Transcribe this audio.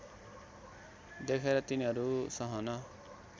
देखेर तिनीहरू सहन